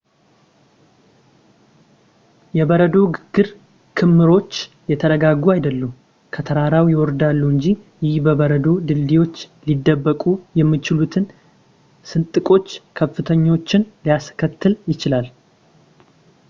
የበረዶ ግግር ክምሮች የተረጋጉ አይደሉም ፣ ከተራራው ይወርዳሉ እንጂ። ይህ በበረዶ ድልድዮች ሊደበቁ የሚችሉትን ስንጥቆች ፣ ክፍተቶችን ሊያስከትል ይችላል